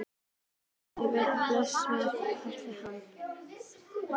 Sæll vertu og blessaður, Valdimar kallaði hann.